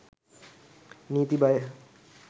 නීති හය